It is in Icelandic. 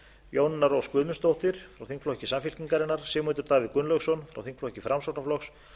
jónína rós guðmundsdóttir frá þingflokki samfylkingarinnar sigmundur davíð gunnlaugsson frá þingflokki framsóknarflokks